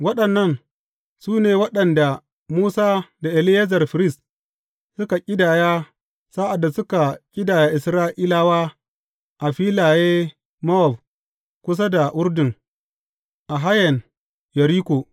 Waɗannan su ne waɗanda Musa da Eleyazar firist, suka ƙidaya sa’ad da suka ƙidaya Isra’ilawa a filaye Mowab kusa da Urdun a hayen Yeriko.